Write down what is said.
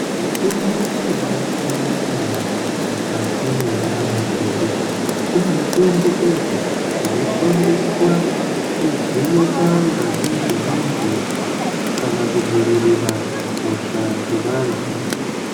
Mitombo inobasiyana siyana mukati mendaramo dzedu kune mitombo idzo dzinoshandiswa kuvheneka ngazi dzevantu kana kudzivirira hosha dzevantu.